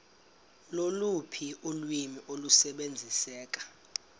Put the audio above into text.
loluphi ulwimi olusebenziseka